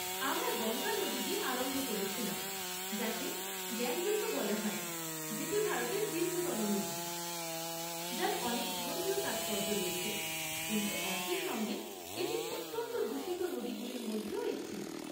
আমরা গঙ্গা নদী দিয়ে আরম্ভ করেছিলাম, যাকে গ্যাঞ্জেস ও বলা হয়, যেটি ভারতের দীর্ঘতম নদী, যার অনেক ধর্মীয় তাৎপর্য রয়েছে, কিন্তু একই সঙ্গে এটি অত্যন্ত দূষিত নদীগুলির মধ্যেও একটি।